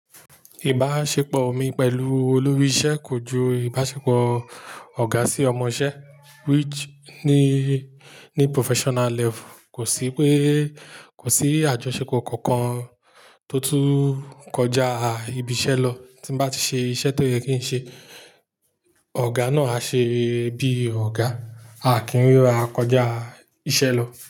Ìbáṣepọ̀ mi pẹ̀lú olórí ìṣe kojú ìbáṣepọ̀ ọ̀gá sí ọmọṣẹ́ which ni, ni professional level kò sí pé, kò sí àjọṣepọ̀ kankan tó tún kọjá ibi iṣẹ́ lọ. Tí n bá ti ṣe iṣẹ́ tó yẹ kí n ṣe, ọ̀gá náà á ṣe bí ọ̀gá, a kì í rira kọjá iṣẹ́ lọ.